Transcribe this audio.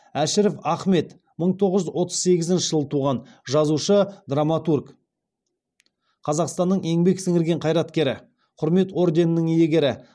әшіров ахмет мың тоғыз жүз отыз сегізінші жылы туған жазушы драматург қазақстанның еңбек сіңірген қайраткері құрмет орденінің иегері